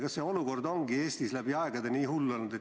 Kas see olukord ongi Eestis läbi aegade nii hull olnud?